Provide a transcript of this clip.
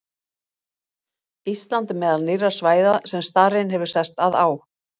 Ísland er meðal nýrra svæða sem starinn hefur sest að á.